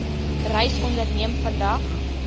reis onderneem vandag